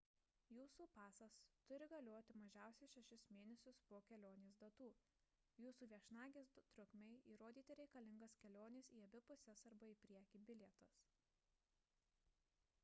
jūsų pasas turi galioti mažiausiai 6 mėnesius po kelionės datų jūsų viešnagės trukmei įrodyti reikalingas kelionės į abi puses arba į priekį bilietas